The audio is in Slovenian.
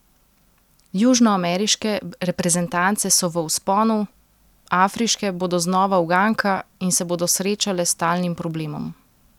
Južnoameriške reprezentance so v vzponu, afriške bodo znova uganka in se bodo srečale s stalnim problemom.